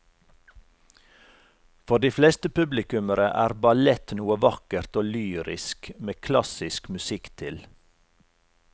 For de fleste publikummere er ballett noe vakkert og lyrisk med klassisk musikk til.